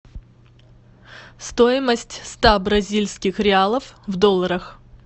стоимость ста бразильских реалов в долларах